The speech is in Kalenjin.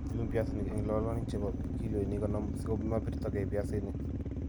iyum piasinik eng' lolonik che po kiloinik konom si ko mapirtagei piasinik.